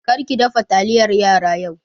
Kar ki dafa taliyar yara yau!